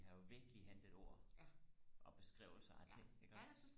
vi har jo virkelig hentet ord og beskrivelser af ting iggås